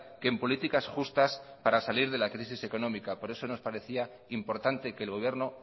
que en políticas justas para salir de la crisis económica por eso nos parecía importante que el gobierno